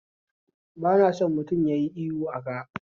Bana son mutum yayi ihu aka